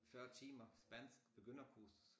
40 timer spansk begynderkursus